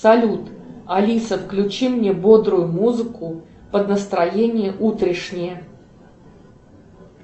салют алиса включи мне бодрую музыку под настроение утрешнее